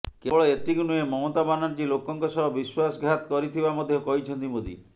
କେବଳ ଏତିକି ନୁହେଁ ମମତା ବାନାର୍ଜି ଲୋକଙ୍କ ସହ ବିଶ୍ୱାସଘାତ କରିଥିବା ମଧ୍ୟ କହିଛନ୍ତି ମୋଦି